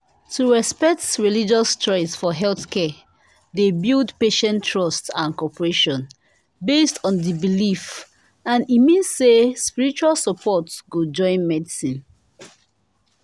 to respect religious choice for healthcare dey build patient trust and cooperation based on the belief and e mean say spiritual support go join medicine